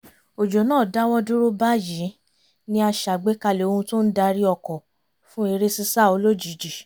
òjò náà dáwọ́ dúró báyìí ni a ṣàgbékalẹ̀ ohun tó ń darí ọkọ̀ fún eré sísá olójijì